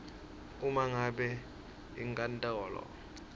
uma ngabe inkantolo